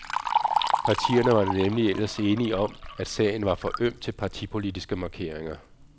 Partierne var nemlig ellers enige om, at sagen var for øm til partipolitiske markeringer.